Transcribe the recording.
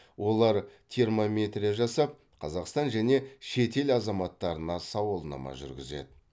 олар термометрия жасап қазақстан және шетел азаматтарына сауалнама жүргізеді